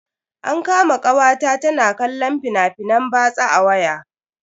An kama kawata ta na kallon fina-finan batsa a waya.